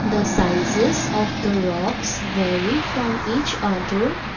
The sizes of the rocks vary from each other.